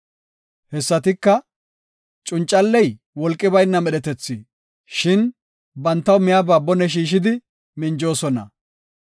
Hessatika, Cuncalley wolqi bayna medhetethi; shin bantaw miyaba bone shiishidi, minjoosona.